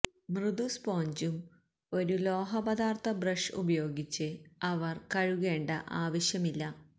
മൃദു സ്പോഞ്ചും ഒരു ലോഹപദാർത്ഥ ബ്രഷ് ഉപയോഗിച്ച് അവർ കഴുകേണ്ട ആവശ്യമില്ല